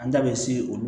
An ta bɛ se olu